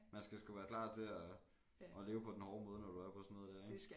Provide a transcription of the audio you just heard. Man skal sgu være klar til og og leve på den hårde måde når du er på sådan noget dér ik